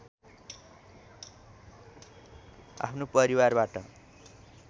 आफ्नो परिवारबाट